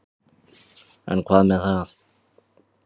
En hvað með það.